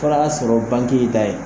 sɔrɔ ta ye